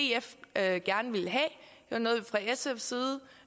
jeg synes